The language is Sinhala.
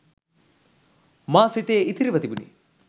මා සිතේ ඉතිරිව තිබුණි